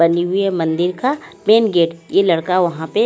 बनी हुई है मंदिर का मेन गेट ये लड़का वहां पे--